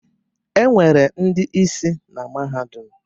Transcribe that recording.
Enwere ndị isi na mahadum